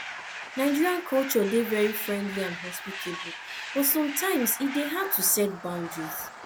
nigerian culture dey very friendly and hospitable but sometimes e dey hard to set boundaries